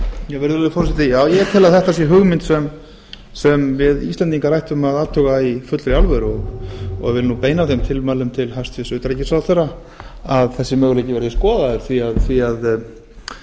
ég tel að þetta sé hugmynd sem við íslendingar ættum að athuga í fullri alvöru og vil nú beina þeim tilmælum til hæstvirts utanríkisráðherra að þessi möguleiki verði skoðaður því að þegar maður